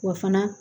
Wa fana